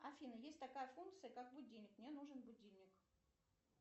афина есть такая функция как будильник мне нужен будильник